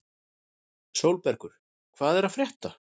Sólbergur, hvað er að frétta?